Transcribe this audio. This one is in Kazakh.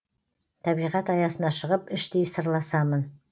табиғат аясына шығып іштей сырласамын